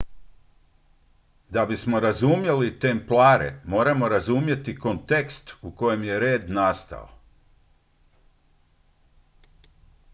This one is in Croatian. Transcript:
da bismo razumjeli templare moramo razumjeti kontekst u kojem je red nastao